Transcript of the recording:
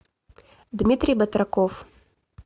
дмитрий батраков